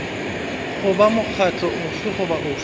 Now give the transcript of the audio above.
goba mokgatlo ofe goba ofe